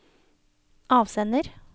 avsender